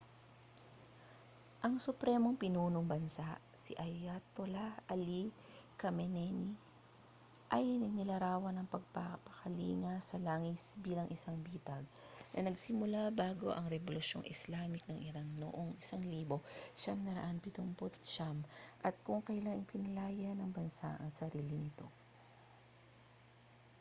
ang supremong pinuno ng bansa si ayatollah ali khamenei ay inilarawan ang pagpapakalinga sa langis bilang isang bitag na nagsimula bago ang rebolusyong islamic ng iran noong 1979 at kung kailan pinalaya ng bansa ang sarili nito